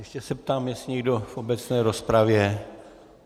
Ještě se ptám, jestli někdo v obecné rozpravě.